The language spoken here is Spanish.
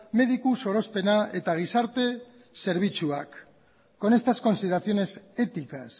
mediku sorospena eta gizarte zerbitzuak con estas consideraciones éticas